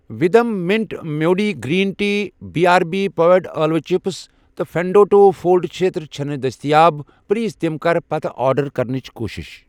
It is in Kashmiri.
وھدم minute melody green tea, B R B popped ٲلوٕ چِپس تہٕ فٮ۪نٛڈو ٹوٗ فولڈ چھٔتٕر چھِنہٕ دٔستِیاب ، پلیز تِم کر پتہٕ آرڈر کرنٕچ کوٗشش